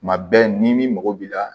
Tuma bɛɛ ni mɔgɔ b'i la